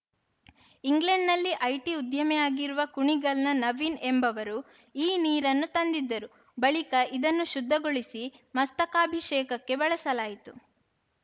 ಇಂಗ್ಲೆಂಡ್‌ನಲ್ಲಿ ಐಟಿ ಉದ್ಯಮಿಯಾಗಿರುವ ಕುಣಿಗಲ್‌ನ ನವೀನ್‌ ಎಂಬವರು ಈ ನೀರನ್ನು ತಂದಿದ್ದರು ಬಳಿಕ ಇದನ್ನು ಶುದ್ಧಗೊಳಿಸಿ ಮಸ್ತಕಾಭಿಷೇಕಕ್ಕೆ ಬಳಸಲಾಯಿತು